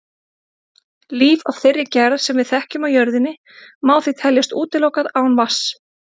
Líf af þeirri gerð sem við þekkjum á jörðinni má því teljast útilokað án vatns.